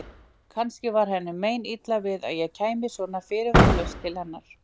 Kannski var henni meinilla við að ég kæmi svona fyrirvaralaust til hennar.